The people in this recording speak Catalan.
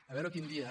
a veure quin dia